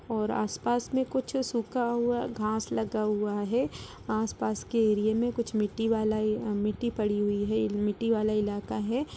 और आस-पास में कुछ सूखा हुआ घास लगा हुआ है आस-पास के एरिया में कुछ मिट्टी वाला मिट्टी पड़ी हुई है मिट्टी वाला इलाका है।